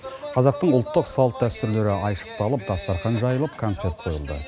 қазақтың ұлттық салт дәстүрлері айшықталып дастархан жайылып концерт қойылды